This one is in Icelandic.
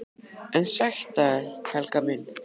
EN SÆTT AF ÞÉR, HELGA MÍN!